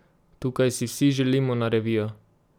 Tukaj si vsi želimo na revijo!